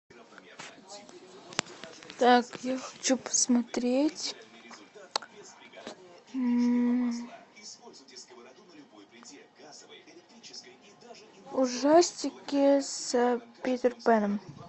так я хочу посмотреть ужастики с питер пэном